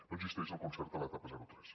no existeix el concert a l’etapa zero tres